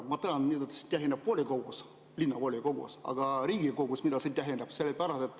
Ma tean, mida see tähendab volikogus, linnavolikogus, aga mida see Riigikogus tähendab?